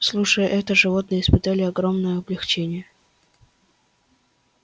слушая это животные испытали огромное облегчение